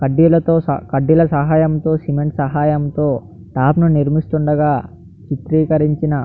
కడ్డీలాతో కడ్డీల సహాయంతో సిమెంట్ సహాయంతో స్లాప్ ను నిర్మిస్తుండగా చిత్రికరించిన --